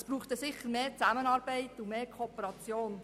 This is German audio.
Es brauchte dann sicher mehr Zusammenarbeit und Kooperation.